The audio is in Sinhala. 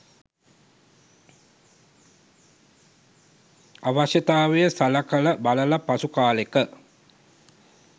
අවශ්‍යතාවය සලකල බලල පසු කාලෙක